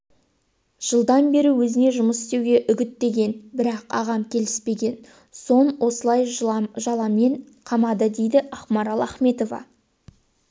жылдан бері өзіне жұмыс істеуге үгіттеген бірақ ағам келіспеген соң осылай жаламен қамады дейді ақмарал ахметова